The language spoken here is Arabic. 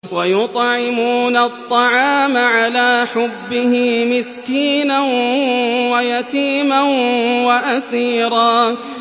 وَيُطْعِمُونَ الطَّعَامَ عَلَىٰ حُبِّهِ مِسْكِينًا وَيَتِيمًا وَأَسِيرًا